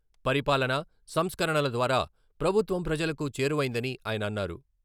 పరిపాలన, సంస్కరణల ద్వారా ప్రభుత్వం ప్రజలకు చేరువైందని ఆయన అన్నారు.